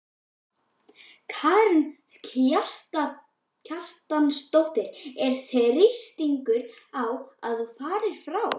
Karen Kjartansdóttir: Er þrýstingur á að þú farir frá?